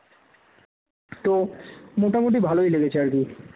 তো মোটামুটি ভালই লেগেছে আর কি